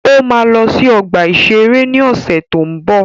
Ó ma lọ sí ọgbà-ìṣeré ni ọ̀sẹ̀ tó ń bọ̀